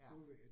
Ja